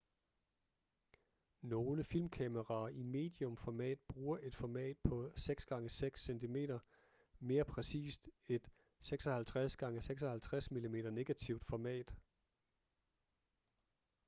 nogle filmkameraer i medium format bruger et format på 6 x 6 cm mere præcist et 56 x 56 mm negativt format